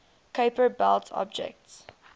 kuiper belt objects